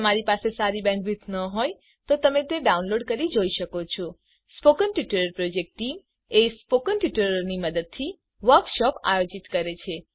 જો તમારી પાસે સારી બેન્ડવિડ્થ ન હોય તો તમે ડાઉનલોડ કરી તે જોઈ શકો છો spoken tutorial project team spoken ટ્યુટોરીયલોની મદદથી વર્કશોપ આયોજિત કરે છે